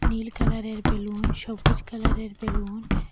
নীল কালারের বেলুন সবুজ কালারের বেলুন --